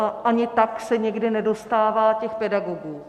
A ani tak se někdy nedostává těch pedagogů.